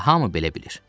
Elə hamı belə bilir.